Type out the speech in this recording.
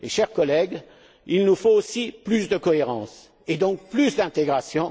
Chers collègues, il nous faut aussi plus de cohérence et donc plus d'intégration.